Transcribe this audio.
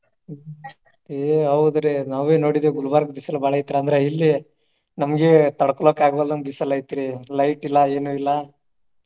ಆಹ್ ಆಹ್ ಏ ಹೌದ್ರಿ ನಾವೇ ನೋಡಿದೇವ ಗುಲ್ಬರ್ಗ ಬಿಸಿಲು ಬಾಳ ಐತಿ ಅಂದ್ರ ಇಲ್ಲಿ ನಮ್ಗೆ ತಡಕೋಳಾಕ ಆಗ್ವಲ್ದಂಗ ಬಿಸಿಲು ಐತ್ರಿ light ಇಲ್ಲ ಏನು ಇಲ್ಲ.